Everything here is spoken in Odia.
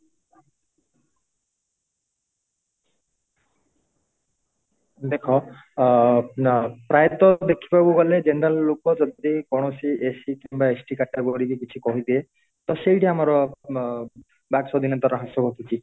ଦେଖ ଅ ଅ ପ୍ରାୟ ତ ଦେଖିବାକୁ ଗଲେ general ଲୋକ ଯଦି କୌଣସି SC କିମ୍ବା ST category କୁ କିଛି କହିଦିଏ ତ ସେଇଠି ଆମର ଅ ଅ ବାକ୍ ସ୍ଵାଧୀନତା ରହେ ସବୁ କିଛି